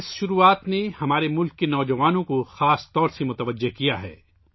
اس آغاز نے خاص طور پر ہمارے ملک کے نوجوانوں کو اپنی طرف متوجہ کیا ہے